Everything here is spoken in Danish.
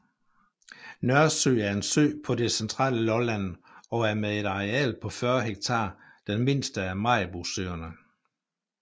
Nørresø er en sø på det centrale Lolland og er med et areal på 40 hektar den mindste af Maribosøerne